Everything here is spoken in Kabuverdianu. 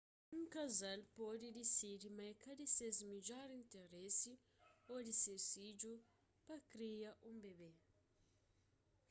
un kazal pode disidi ma é ka di ses midjor interesi ô di ses fidju pa kria un bebé